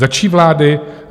Za čí vlády?